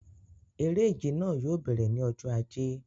Eré ìje náà yóò bẹ̀rẹ̀ ní ọjọ ajé